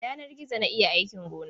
Da yanar gizo na yi aikin gonana.